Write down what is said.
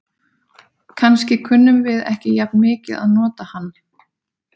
Kannski kunnum við ekki jafn mikið að nota hann.